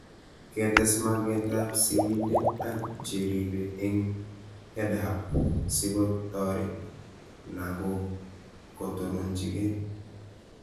Ketes mag'et ab sig'indet ak che ripe eng' EdHub siko taret lag'ok kotonchinikei